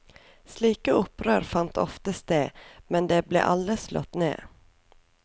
Slike opprør fant ofte sted, men de ble alle slått ned.